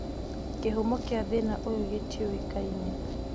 Kĩhumo kia thĩna ũyũ gĩtiũĩkaine